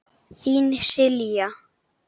Þín, Silja.